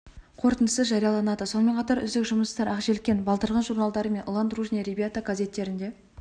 қорытындысы жарияланады сонымен қатар үздік жұмыстар ақ желкен балдырған журналдары мен ұлан дружные ребята газеттерінде